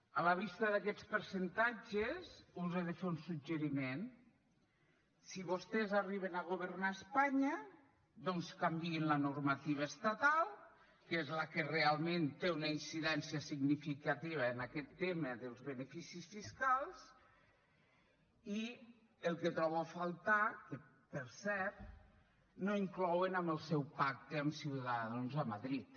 a la vista d’aquests percentatges us he de fer un suggeriment si vostès arriben a governar espanya doncs canviïn la normativa estatal que és la que realment té una incidència significativa en aquest tema dels beneficis fiscals i el que trobo a faltar que per cert no inclouen en el seu pacte amb ciudadanos a madrid